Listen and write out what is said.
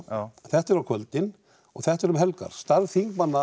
þetta er á kvöldin og þetta er um helgar störf þingmanna